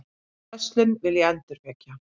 Þá verslun vil ég endurvekja.